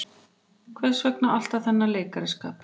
Hvers vegna alltaf þennan leikaraskap.